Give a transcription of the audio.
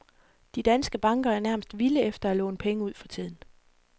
De danske banker er nærmest vilde efter at låne penge ud for tiden.